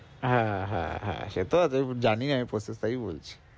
হ্যাঁ হ্যাঁ হ্যাঁ সেতো আছে জানি আমি বলছি